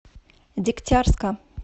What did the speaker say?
дегтярска